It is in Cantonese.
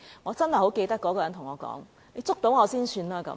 我仍然記得那個人曾對我說："你捉到我才算吧"。